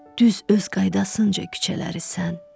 Düz öz qaydasınca küçələri sən.